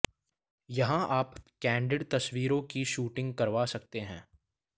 यहां आप कैंडिड तस्वीरों की शूटिंग करवा सकते हैं